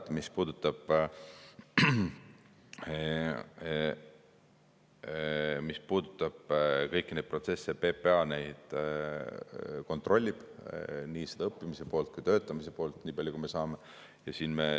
Ma niipalju ütlen ära, et mis puudutab kõiki neid protsesse, siis PPA neid kontrollib, nii seda õppimise poolt kui ka töötamise poolt, nii palju, kui me saame.